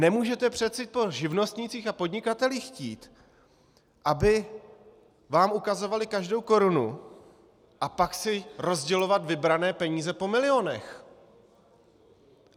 Nemůžete přece po živnostnících a podnikatelích chtít, aby vám ukazovali každou korunu, a pak si rozdělovat vybrané peníze po milionech.